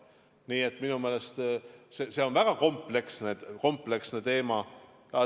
Nii et minu meelest on see väga kompleksne teema.